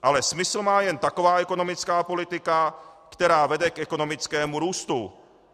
Ale smysl má jen taková ekonomická politika, která vede k ekonomickému růstu.